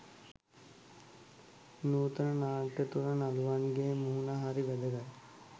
නූතන නාට්‍ය තුළ නළුවන්ගේ මුහුණ හරි වැදගත්.